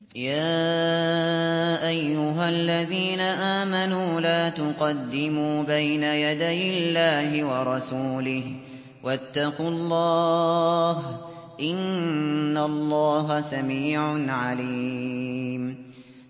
يَا أَيُّهَا الَّذِينَ آمَنُوا لَا تُقَدِّمُوا بَيْنَ يَدَيِ اللَّهِ وَرَسُولِهِ ۖ وَاتَّقُوا اللَّهَ ۚ إِنَّ اللَّهَ سَمِيعٌ عَلِيمٌ